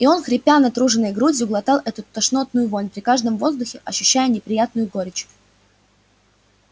и он хрипя натруженной грудью глотал эту тошнотную вонь при каждом вздохе ощущая неприятную горечь